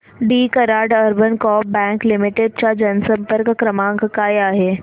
दि Karad urban coop bank limited चा जनसंपर्क क्रमांक काय आहे